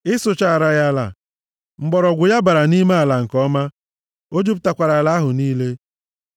Ị sụchaara ya ala, mgbọrọgwụ ya bara nʼime ala nke ọma, o jupụtakwara ala ahụ niile.